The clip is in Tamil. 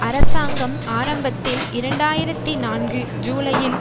அரசாங்கம் ஆரம்பத்தில் இரண்டு ஆயிரத்தி நான்கு ஜூலையில்